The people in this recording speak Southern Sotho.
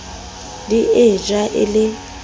di e ja e le